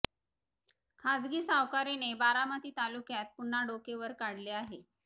खासगी सावकारीने बारामती तालुक्यात पुन्हा डोके वर काढले आहे